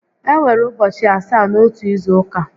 E nwere ụbọchị asaá n'otu izu ụka